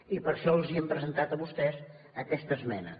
i per això els hem presentat a vostès aquesta esmena